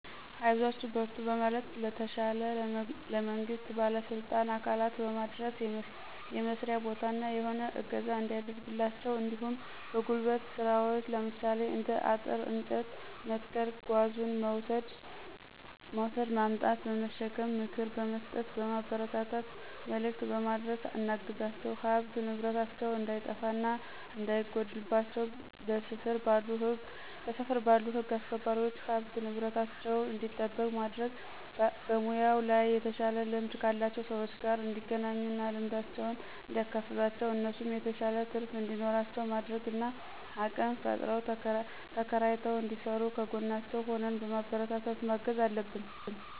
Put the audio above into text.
አይዟችሁ በርቱ በማለትና ለተሻለ ለመንግስት ባለስልጣን አካላት በማድረስ የመስርያ ቦታ እና የሆነ እገዛ እንዲያደርግላቸው እንዲሁም በጉልበት ስራዎች ለምሳሌ እንደ አጥር፤ እንጨት መትከል ጓዙን መውስድ ማምጣት/በመሸከም ምክር በምስጠት ማበረታታት መልክት በማድረስ እናግዛቸዋለን። ሀብት ንብረታቸው እንዳይጠፋ እና እንዳይጎድልባቸው በስፍር ባሉ ህግ አስክባሪዎች ሀብት ንብረታቸው እንዲጠበቅ ማድረግ። በሙያው ላይ የተሻለ ልምድ ካላቸው ሰዎች ጋር እንዲገናኙ እና ልምዳቸውን እንዲያካፍሏቸው እነሱም የተሻለ ትርፍ እንዲኖራቸው ማድረግ እና አቅም ፈጥረው ተከራይተው እንዲስሩ ከጎናቸው ሁነን በማበረታታት ማገዝ አለብን።